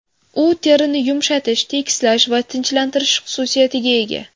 U terini yumshatish, tekislash va tinchlantirish xususiyatiga ega.